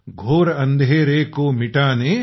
घोर अंधेरे को मिटाकने